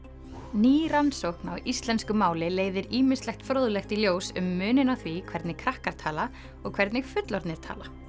ný rannsókn á íslensku máli leiðir ýmislegt fróðlegt í ljós um muninn á því hvernig krakkar tala og hvernig fullorðnir tala